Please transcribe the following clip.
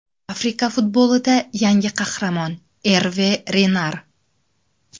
Afrika futbolida yangi qahramon: Erve Renar.